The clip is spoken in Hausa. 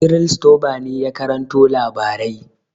Cyril Stober ne ya karanto labarai.